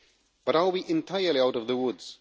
But are we entirely out of the woods?